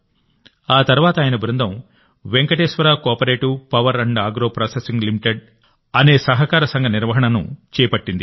ఆ తర్వాత ఆయన బృందం Venkateswara cooperative power agro processing limited అనే సహకార సంఘ నిర్వహణను చేపట్టింది